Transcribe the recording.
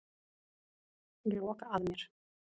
Ég loka að mér.